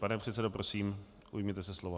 Pane předsedo, prosím, ujměte se slova.